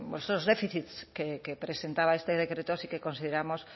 esos déficits que presentaba este decreto sí que consideramos